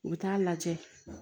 U bɛ taa lajɛ